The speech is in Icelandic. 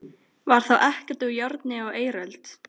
Var þá ekkert úr járni á eiröld?